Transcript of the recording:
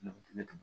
Ne ko ne